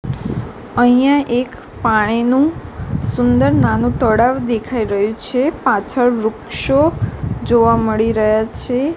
અહીંયા એક પાણીનુ સુંદર નાનુ તળાવ દેખાય રહ્યુ છે પાછળ વૃક્ષો જોવા મળી રહ્યા છે.